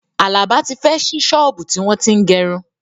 Àlàbá tí fẹ́ ṣí ṣọ́ọ̀bú tí wọ́n tín gẹrun